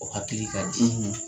O hakili ka di